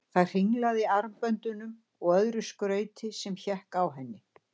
Það hringlaði í armböndum og öðru skrauti sem hékk á henni.